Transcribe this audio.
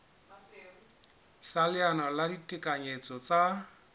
sa leano la ditekanyetso tsa